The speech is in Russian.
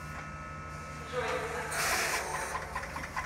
джой насколько все плохо